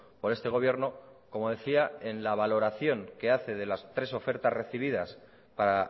por este gobierno como decía en la valoración que hace de las tres ofertas recibidas para